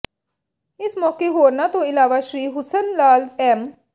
ਇਸ ਮੌਕੇ ਹੋਰਨਾਂ ਤੋਂ ਇਲਾਵਾ ਸ੍ਰੀ ਹੁਸਨ ਲਾਲ ਐਮ